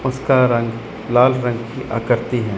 उसका रंग लाल रंग की आकृति हैं।